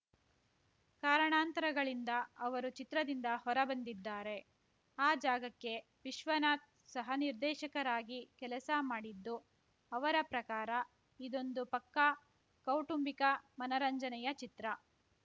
ಕಾರಣಾಂತರಗಳಿಂದ ಅವರು ಚಿತ್ರದಿಂದ ಹೊರಬಂದಿದ್ದಾರೆ ಆ ಜಾಗಕ್ಕೆ ವಿಶ್ವನಾಥ್‌ ಸಹ ನಿರ್ದೇಶಕರಾಗಿ ಕೆಲಸ ಮಾಡಿದ್ದು ಅವರ ಪ್ರಕಾರ ಇದೊಂದು ಪಕ್ಕಾ ಕೌಟುಂಬಿಕ ಮನರಂಜನೆಯ ಚಿತ್ರ